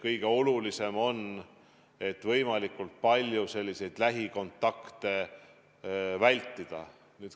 Kõige olulisem on võimalikult palju lähikontakte vältida.